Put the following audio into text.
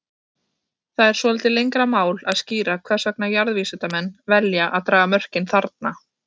Það er svolítið lengra mál að skýra hvers vegna jarðvísindamenn velja að draga mörkin þarna.